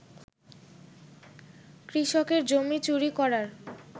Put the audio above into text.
কৃষকের জমি চুরি করার